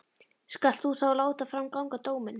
Skalt þú þá láta fram ganga dóminn.